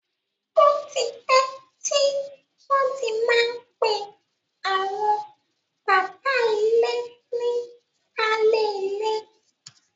Ó ti pẹ́ tí wọ́n ti má ń pè àwọn bàbá ilé ní baálé ilé.